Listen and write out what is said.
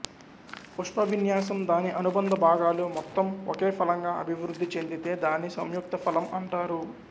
పుష్పవిన్యాసం దాని అనుబంధ భాగాలు మొత్తం ఒకే ఫలంగా అభివృద్ధి చెందితే దాన్ని సంయుక్త ఫలం అంటారు